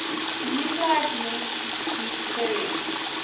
nuclide link deuterium